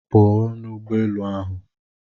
Pụọ n'ụgbọ elu ahụ!